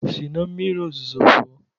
Si na mmiri ozuzo pụọ!